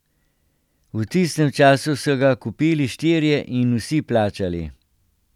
V tistem času so ga kupili štirje, in vsi plačali.